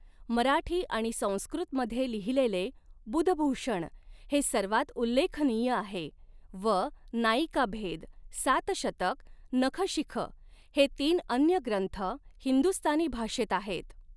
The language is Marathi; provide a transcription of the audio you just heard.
मराठी आणि संस्कृतमध्ये लिहिलेले बुधभूषण हे सर्वात उल्लेखनीय आहे व नायिका भेद, सातशतक, नखशिख हे तीन अन्य ग्रंथ, हिंदुस्तानी भाषेत आहेत.